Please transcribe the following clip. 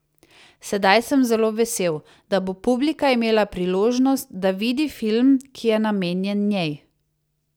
Sedaj sem zelo vesel, da bo publika imela priložnost, da vidi film, ki je namenjen njej.